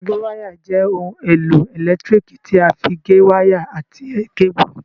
Agéwáyà jẹ́ ohun èlò ẹ̀lẹ́tíríkì tí a fí gé wáyà àti kébù